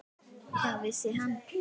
Hvað vissi hann?